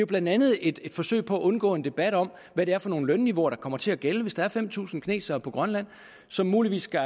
blandt andet et forsøg på at undgå en debat om hvad det er for nogle lønniveauer der kommer til at gælde hvis der er fem tusind kinesere på grønland som muligvis kan